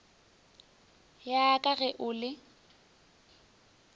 ya ka ge o le